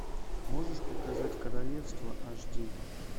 можешь показать королевство аш ди